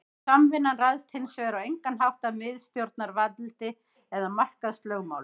Samvinnan ræðst hins vegar á engan hátt af miðstjórnarvaldi eða markaðslögmálum.